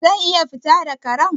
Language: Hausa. Zan iya fita da Karen?